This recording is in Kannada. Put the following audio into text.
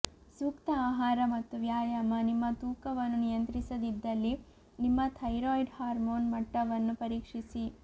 ಸೂಕ್ತ ಆಹಾರ ಮತ್ತು ವ್ಯಾಯಾಮ ನಿಮ್ಮ ತೂಕವನ್ನು ನಿಯಂತ್ರಿಸದಿದ್ದಲ್ಲಿ ನಿಮ್ಮ ಥೈರಾಯ್ಡ್ ಹಾರ್ಮೋನ್ ಮಟ್ಟವನ್ನು ಪರೀಕ್ಷಿಸಿ